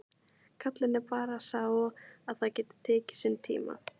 Gallinn er bara sá að það getur tekið sinn tíma.